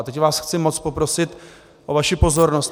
A teď vás chci moc poprosit o vaši pozornost.